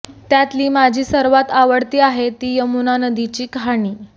त्यातली माझी सर्वात आवडती आहे ती यमुना नदीची कहाणी